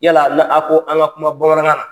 Yala a be na a' ko an' ŋa kuma bamanankan na